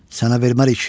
Sənə vermərik.